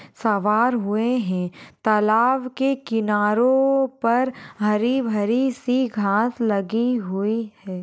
सवार हुए है तलाब के किनारों पर हरी-भरी सी घास लगी हुई है।